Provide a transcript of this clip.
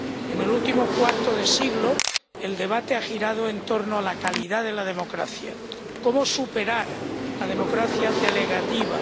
En el último cuarto de siglo el debate ha girado en torno a la calidad de la democracia cómo superar la democracia delegativa